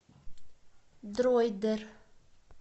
дройдер